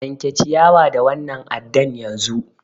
Yanke ciyawa da wannan addan yanzu!